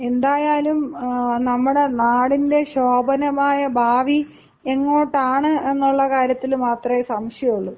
എന്തായാലും നമ്മുടെ നാടിന്‍റെ ശോഭനമായ ഭാവി എങ്ങോട്ടാണ് എന്നുള്ള കാര്യത്തിൽ മാത്രേ സംശയമുള്ളൂ.